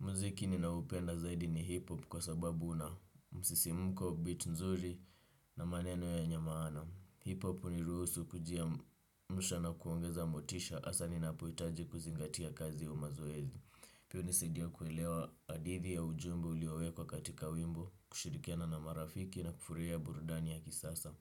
Muziki ninaupenda zaidi ni hiphop kwa sababu una msisimko, beat nzuri na maneno yenya maana. Hiphop huniruhusu kujiamsha na kuongeza motisha hasa ninapohitaji kuzingatia kazi au mazoezi. Pio hunisaidia kuelewa hadithi ya ujumbe uliowekwa kwa katika wimbo, kushirikiana na marafiki na kufurahia burudani ya kisasa.